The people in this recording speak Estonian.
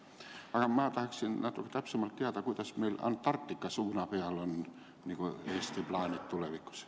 Aga ma tahaksin natuke täpsemalt teada, kuidas on meil Antarktika suuna peal Eesti plaanid tulevikus.